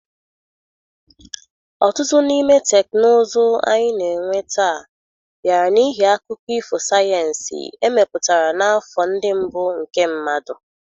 Ọtụtụ n'ime teknụzụ ndị anyị na-enwe taa bịara n'ihi akụkọ ifo sayensị emepụtara n'afọ ndị mbụ nke mmadụ.